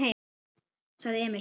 sagði Emil.